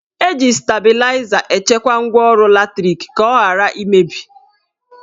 Eji stabịlaịza echekwa ngwaọrụ latrik ka ọ ghara imebi